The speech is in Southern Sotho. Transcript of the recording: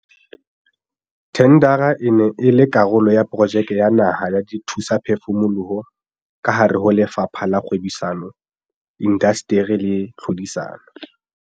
Thendara e ne e le karolo ya Projeke ya Naha ya Dithusaphefumoloho kahare ho Lefapha la Kgwebisano, Indasteri le Tlhodisano.